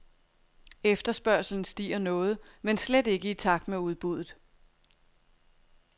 Efterspørgslen stiger noget, men slet ikke i takt med udbuddet.